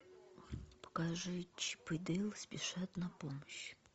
покажи чип и дейл спешат на помощь